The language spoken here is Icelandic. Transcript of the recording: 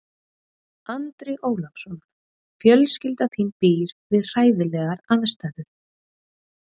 Andri Ólafsson: Fjölskylda þín býr við hræðilegar aðstæður?